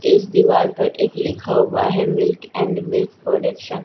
इस दिवार पे एक लिखा हुआ हैं मिल्क एंड मिल्क प्रोडक्शन --